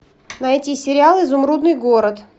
найти сериал изумрудный город